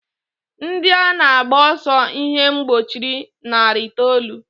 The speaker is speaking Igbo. Ndị a na-agba ọsọ ihe mgbochi narị itoolu.